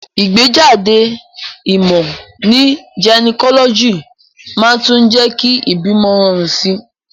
Ìgbéjáde ìmò ní gynecology màá tún jé kí ìbímo rorùn sí